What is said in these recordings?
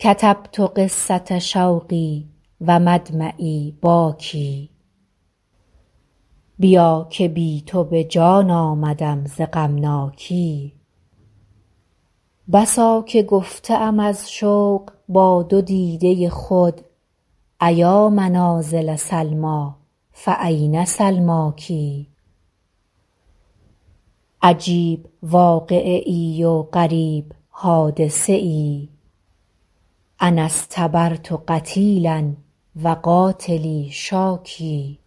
کتبت قصة شوقی و مدمعی باکی بیا که بی تو به جان آمدم ز غمناکی بسا که گفته ام از شوق با دو دیده خود أیا منازل سلمیٰ فأین سلماک عجیب واقعه ای و غریب حادثه ای أنا اصطبرت قتیلا و قاتلی شاکی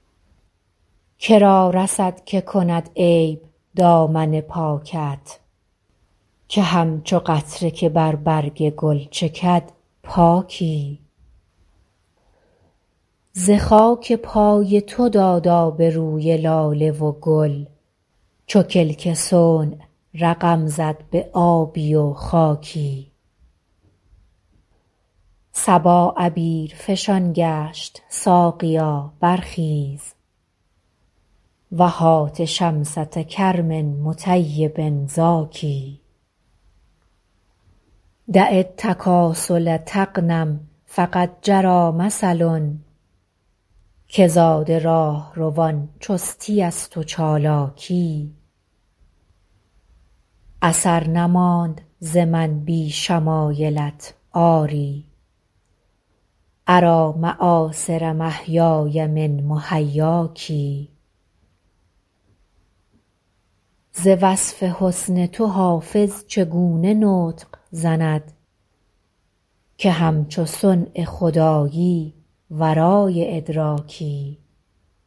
که را رسد که کند عیب دامن پاکت که همچو قطره که بر برگ گل چکد پاکی ز خاک پای تو داد آب روی لاله و گل چو کلک صنع رقم زد به آبی و خاکی صبا عبیرفشان گشت ساقیا برخیز و هات شمسة کرم مطیب زاکی دع التکاسل تغنم فقد جری مثل که زاد راهروان چستی است و چالاکی اثر نماند ز من بی شمایلت آری أری مآثر محیای من محیاک ز وصف حسن تو حافظ چگونه نطق زند که همچو صنع خدایی ورای ادراکی